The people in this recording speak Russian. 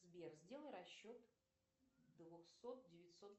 сбер сделай расчет двухсот девятьсот